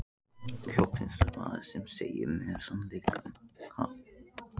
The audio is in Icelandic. Loksins maður sem segir mér sannleikann, ha?